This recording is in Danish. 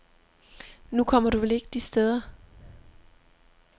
Nu kommer du vel ikke de steder.